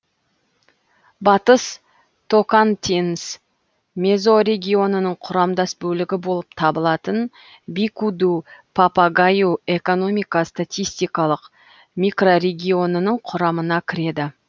батыс токантинс мезорегионының құрамдас бөлігі болып табылатын бику ду папагаю экономика статистикалық микрорегионының құрамына кіреді